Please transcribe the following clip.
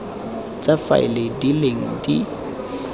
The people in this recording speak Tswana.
tsa faele di leng di